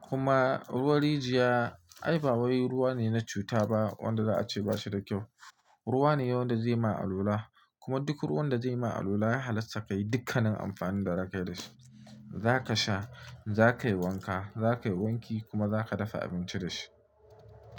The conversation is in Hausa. kuma ruwan rijiya ai ba wai ruwa ne na cuta ba wanda za a ce ba shi da kyau. Ruwa ne wanda zai ma alola, kuma duk ruwan da zai ma alola ya halatta ka yi dukkanin amfanin da za ka yi da shi. Za ka sha, za ka yi wanka, za ka yi wanki kuma za ka dafa abinci da shi.